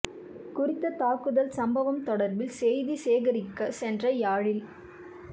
குறித்த தாக்குதல் சம்பவம் தொடர்பில் செய்தி சேகரிக்க சென்ற யாழில்